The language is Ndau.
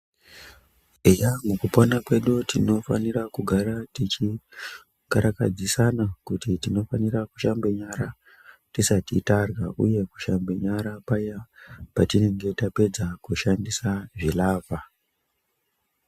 Eya, mukupona kwedu tinofanira kugara tichikarakadzisana kuti tinofanira kushambe nyara, tisati tarya, uye kushambe nyara paya patinenge tapedza kushandisa zvilavha.